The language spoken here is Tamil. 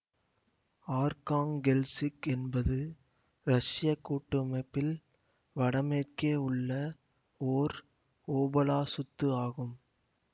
ஆர்க்காங்கெல்சிக் என்பது ரஷ்ய கூட்டமைப்பில் வடமேற்கே உள்ள ஓர் ஓபலாசுத்து ஆகும்